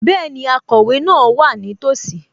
Bẹ́ẹ̀ni, akọ̀wé náà wà nítòsí